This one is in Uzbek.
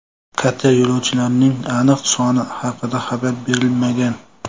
Kater yo‘lovchilarining aniq soni haqida xabar berilmagan.